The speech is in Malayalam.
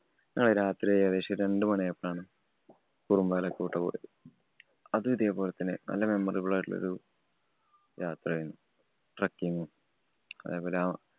ഞങ്ങൾ രാത്രി ഏകദേശം രണ്ട് മണിയായപ്പോഴാണ് കുറമ്പാലകോട്ട പോയത്. അതും ഇതേപോലെ തന്നെ നല്ല memmorable ആയിട്ടുള്ളൊരു യാത്രയായിരുന്നു. trucking ഉം അതേപോലെ